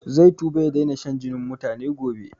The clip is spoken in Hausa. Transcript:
Zai tuba ya daina shan jinin mutane gobe